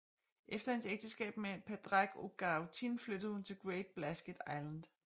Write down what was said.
Efter hendes ægteskab med Pádraig Ó Gaoithín flyttede hun til Great Blasket Island